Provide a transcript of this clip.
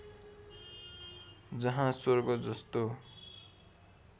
जहाँ स्वर्ग जस्तो